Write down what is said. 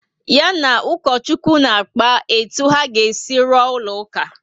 Ya na ukochukwu na-akpa etu a ga esi rụọ ụlọ uka